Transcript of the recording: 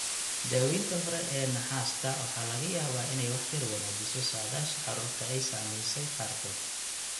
Daawaynta hore ee naxaasta waxa laga yaabaa inay wax yar wanaajiso saadaasha carruurta ay saamaysay qaarkood.